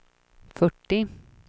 fyrtio